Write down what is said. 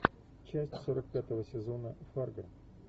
часть сорок пятого сезона фарго